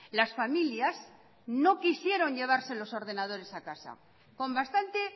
las familias no quisieron llevarse los ordenadores a casa con bastante